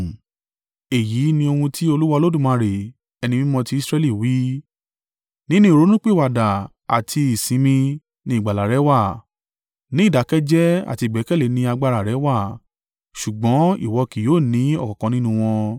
Èyí ni ohun tí Olúwa Olódùmarè, Ẹni Mímọ́ ti Israẹli wí: “Nínú ìrònúpìwàdà àti ìsinmi ni ìgbàlà rẹ wà, ní ìdákẹ́ jẹ́ẹ́ àti ìgbẹ́kẹ̀lé ni agbára rẹ wà, ṣùgbọ́n ìwọ kì yóò ní ọ̀kankan nínú wọn.